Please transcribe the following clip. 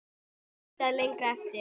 Leitað lengra aftur.